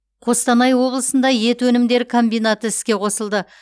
қостанай облысында ет өнімдері комбинаты іске қосылды